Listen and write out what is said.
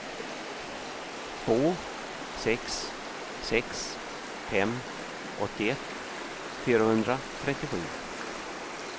två sex sex fem åttioett fyrahundratrettiosju